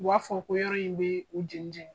U b'a fɔ ko yɔrɔ in bɛ u jɛnijɛni.